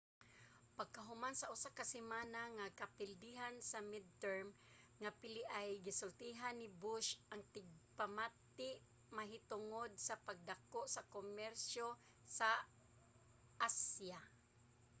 pagkahuman sa usa ka semana nga kapildihan sa midterm nga piliay gisultihan ni bush ang tigpamati mahitungod sa pagpadako sa komersyo sa asya